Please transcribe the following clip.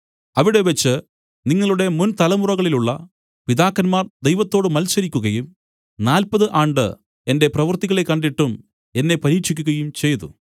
അവിടെവച്ച് നിങ്ങളുടെമുന്‍ തലമുറകളിലുള്ള പിതാക്കന്മാർ ദൈവത്തോട് മത്സരിക്കുകയും നാല്പതു ആണ്ട് എന്റെ പ്രവർത്തികളെ കണ്ടിട്ടും എന്നെ പരീക്ഷിക്കുകയും ചെയ്തു